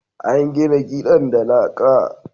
an gina gidan da laƙa